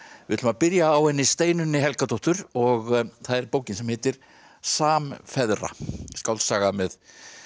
við ætlum að byrja á henni Steinunni Helgadóttur og það er bókin sem heitir samfeðra skáldsaga með